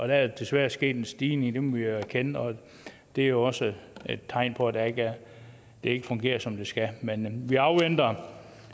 der er desværre sket en stigning det må vi erkende og det er jo også et tegn på at det ikke fungerer som det skal men vi afventer